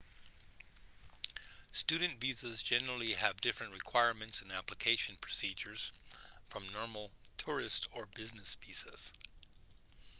student visas generally have different requirements and application procedures from normal tourist or business visas